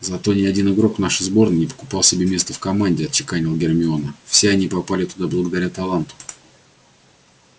зато ни один игрок нашей сборной не покупал себе место в команде отчеканила гермиона все они попали туда благодаря таланту